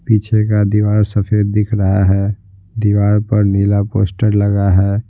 पीछे का दीवार सफेद दिख रहा है दीवार पर नीला पोस्टर लगा है ।